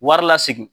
Wari lasegin